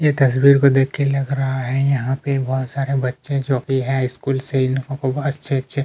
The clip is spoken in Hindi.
ये तसवीर को देख के लग रहा है यहाँ पे बहुत सारे बच्चे जो की हैं स्कूल से इन लोगों को अच्छे-अच्छे--